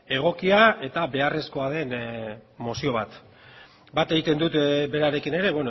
egokia eta beharrezkoa den mozio bat bat egiten dut berarekin ere